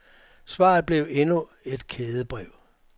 Svaret blev endnu et kædebrev.